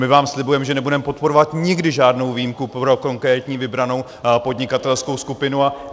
My vám slibujeme, že nebudeme podporovat nikdy žádnou výjimku pro konkrétní vybranou podnikatelskou skupinu.